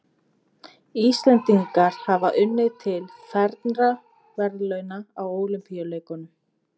Íslendingar hafa unnið til fernra verðlauna á Ólympíuleikum.